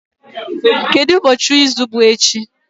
Kedu ụbọọchi izu bụ echi?